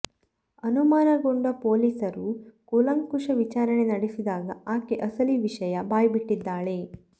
ಅನುಮಾನಗೊಂಡ ಪೊಲೀಸರು ಕೂಲಂಕುಷ ವಿಚಾರಣೆ ನಡೆಸಿದಾಗ ಆಕೆ ಅಸಲಿ ವಿಷಯ ಬಾಯ್ಬಿಟ್ಟಿದ್ದಾಳೆ